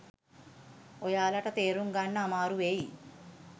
ඔයාලට තේරුම් ගන්න අමාරු වෙයි.